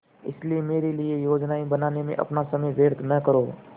इसलिए मेरे लिए योजनाएँ बनाने में अपना समय व्यर्थ न करो